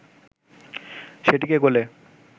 সেটিকে গোলে